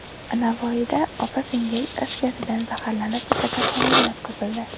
Navoiyda opa-singil is gazidan zaharlanib, kasalxonaga yotqizildi.